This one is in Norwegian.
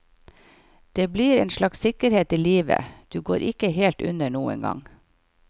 Det blir en slags sikkerhet i livet, du går ikke helt under noen gang.